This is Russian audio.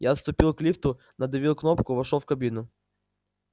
я отступил к лифту надавил кнопку вошёл в кабину